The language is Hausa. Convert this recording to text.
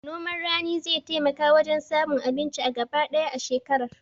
Noman rani zai taimaka wajen samun abinci a gaba ɗaya shekarar